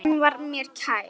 Hann var mér kær.